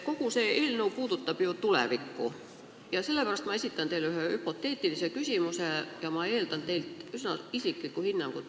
Kogu see eelnõu puudutab ju tulevikku ja sellepärast ma esitan teile ühe hüpoteetilise küsimuse, eeldades teilt üsna isiklikku hinnangut.